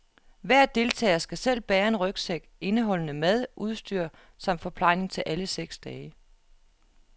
Hver deltager skal selv bære en rygsæk indeholdende mad, udstyr samt forplejning til alle seks dage.